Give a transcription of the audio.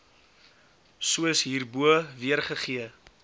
soos hierbo weergegee